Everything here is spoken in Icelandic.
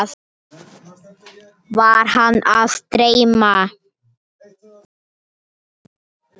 Var hana að dreyma?